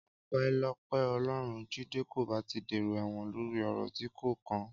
Ọpẹ́lọpẹ́ Ọlọ́run, Jídé kò bá ti dèrò ẹ̀wọ̀n lórí ọ̀rọ̀ tí kò kàn án.